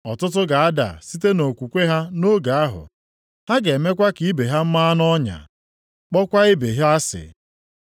Ọtụtụ ga-ada site nʼokwukwe ha nʼoge ahụ. Ha ga-emekwa ka ibe ha ma nʼọnya, kpọọkwa ibe ha asị.